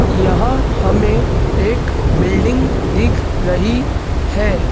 यहां हमे एक बिल्डिंग दिख रही है।